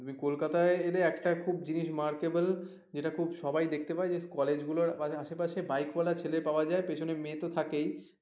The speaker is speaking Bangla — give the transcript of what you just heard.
তুমি কোলকাতা এলে একটা খুব জিনিস মার কাব্যে যেটা খুব সবাই দেখতে পায় যে কলেজ গুলোর আশেপাশে বিকে ওয়ালা ছেলে পাওয়া যায় পেছনে মেয়ে তো থাকেই